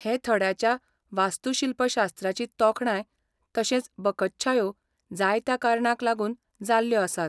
हे थड्याच्या वास्तूशिल्पशास्त्राची तोखणाय तशेंच बकत्शायो जायत्या कारणांक लागून जाल्ल्यो आसात.